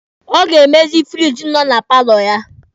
Ọ ga-emezi firiji nọ na paalọ ya.